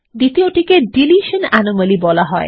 দ্বিতীয়টিকে deletion anomaly বলা হয়